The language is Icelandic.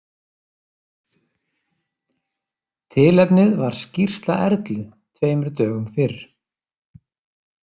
Tilefnið var skýrsla Erlu tveimur dögum fyrr.